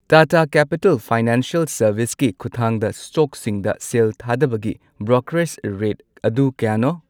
Tata capital financial ꯁꯔꯚꯤꯁꯀꯤ ꯈꯨꯊꯥꯡꯗ ꯁ꯭ꯇꯣꯛꯁꯤꯡꯗ ꯁꯦꯜ ꯊꯥꯗꯕꯒꯤ ꯕ꯭ꯔꯣꯀꯔꯦꯖ ꯔꯦꯠ ꯑꯗꯨ ꯀꯌꯥꯅꯣ?